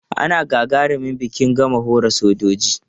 Ana gagarumin biki in gama horaswar soja.